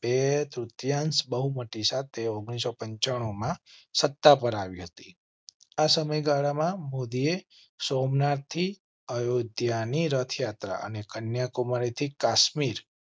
બે તૃતીયાંશ બહુમતી સાથે ઓગણીસો પંચનું માં સત્તા પર આવી હતી. આ સમય ગાળામાં મોદીએ સોમનાથ થી અયોધ્યા ની રથયાત્રા અને કન્યાકુમારી થી કાશ્મીર